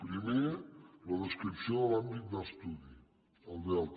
primer la descripció de l’àm·bit d’estudi el delta